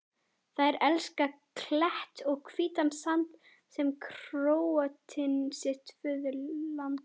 Þær elska klett og hvítan sand sem Króatinn sitt föðurland.